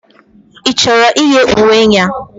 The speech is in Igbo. Ị chọrọ iyi uwe a?